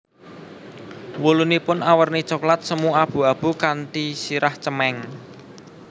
Wulunipun awerni coklat semu abu abu kanthi sirah cemeng